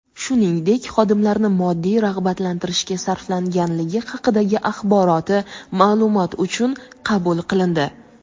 shuningdek xodimlarni moddiy rag‘batlantirishga sarflanganligi haqidagi axboroti ma’lumot uchun qabul qilindi.